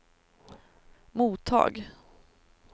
mottag